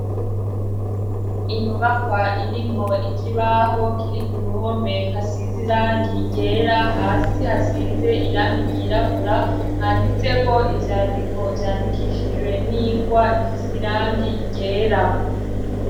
Inyubakwa irimwo ikibaho kiri ku ruhome hasize irangi ryera hasi hasize irangi ryirabura handitseko ivyandiko vyandikishijwe n'ingwa ifise irangi ryera.